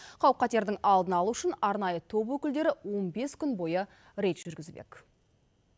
қауіп қатердің алдын алу үшін арнайы топ өкілдері он бес күн бойы рейд жүргізбек